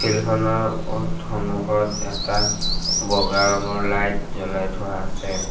Field খনৰ সন্মুখত এটা বগা ৰঙৰ লাইট জ্বলাই থোৱা আছে।